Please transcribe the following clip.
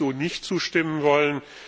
Dem würde ich so nicht zustimmen wollen.